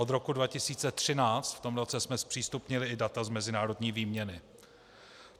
Od roku 2013, v tom roce jsme zpřístupnili i data z mezinárodní výměny.